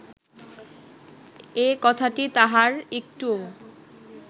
একথাটি তাঁহার একটুও